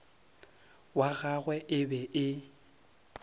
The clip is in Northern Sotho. wa gagwe e be e